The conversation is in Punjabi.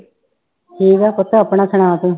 ਠੀਕ ਹਾਂ ਪੁੱਤ, ਆਪਣਾ ਸੁਣਾ ਤੂੰ।